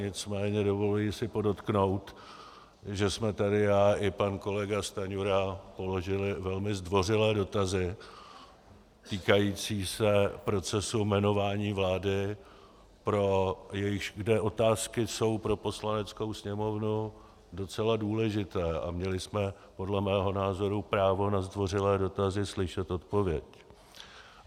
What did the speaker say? Nicméně dovoluji si podotknout, že jsme tady já i pan kolega Stanjura položili velmi zdvořilé dotazy týkající se procesu jmenování vlády, kde otázky jsou pro Poslaneckou sněmovnu docela důležité, a měli jsme podle mého názoru právo na zdvořilé dotazy slyšet odpověď.